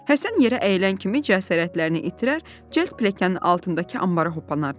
Həsən yerə əyildən kimi cəsarətlərini itirər, cəld piləkanın altındakı anbara hoppanardılar.